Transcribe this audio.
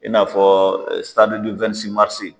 I n'a fɔ marisi.